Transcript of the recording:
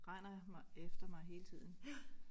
Render mig efter mig hele tiden